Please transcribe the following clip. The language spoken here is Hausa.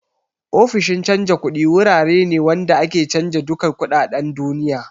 Ofishin canja kuɗi wurare ne wanda ake canja duka kuɗaɗen duniya